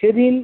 সেদিন-